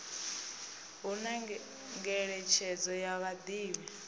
hu na ngeletshedzo ya vhadivhi